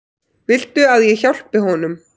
Viltu að ég hjálpi honum?